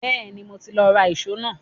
Bẹ́ẹ̀ni, mo ti lọ ra ìṣó náà